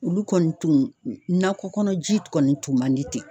Olu kɔni tun nakɔ kɔnɔ ji kɔni tun man di ten